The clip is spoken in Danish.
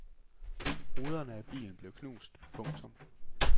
Ruderne af bilen blev knust. punktum